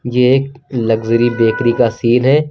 ये एक luxury bakery का सीन है।